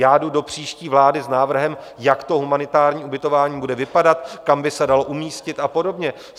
Já jdu do příští vlády s návrhem, jak to humanitární ubytování bude vypadat, kam by se dalo umístit a podobně.